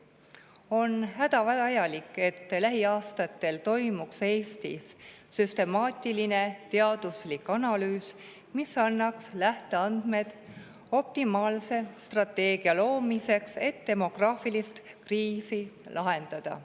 On hädavajalik, et lähiaastatel tehtaks Eestis süstemaatiline teaduslik analüüs, mis annaks lähteandmed optimaalse strateegia loomiseks, et demograafilist kriisi lahendada.